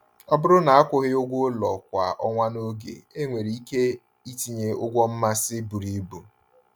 Ọ bụrụ na akwụghị ụgwọ ụlọ kwa ọnwa n’oge, enwere ike itinye ụgwọ mmasị buru ibu.